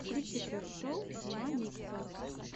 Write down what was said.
включи трек шоу мамикса